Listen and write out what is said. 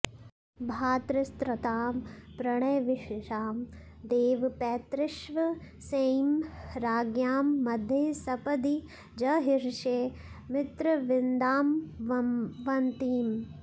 भ्रातृत्रस्तां प्रणयविवशां देव पैतृष्वसेयीं राज्ञां मध्ये सपदि जहृषे मित्रविन्दामवन्तीम्